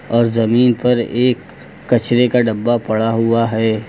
और जमीन पर एक कचरे का डब्बा पड़ा हुआ है।